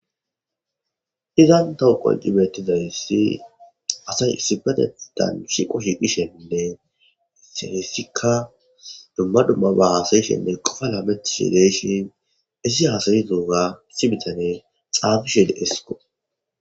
Izan tawu qonc' betizaysi asay issipetetan shiqo shiqishen heysika duma dumaba hasa'ishene qofa lametishe de'ishe hesi hasa'idoga issi bitaney xafishe de'sko.